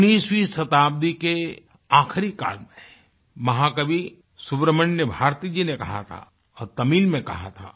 19वीं शताब्दी के आखरी काल में महाकवि सुब्रमण्यम भारती जी नें कहा था और तमिल में कहा था